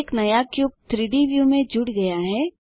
एक नया क्यूब 3डी व्यू में जुड़ गया है